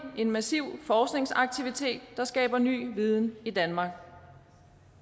en massiv forskningsaktivitet der skaber ny viden i danmark